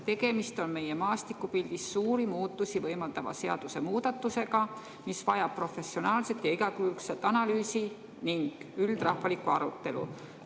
Tegemist on meie maastikupildis suuri muutusi võimaldava seadusemuudatusega, mis vajab professionaalset ja igakülgset analüüsi ning üldrahvalikku arutelu.